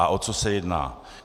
A o co se jedná.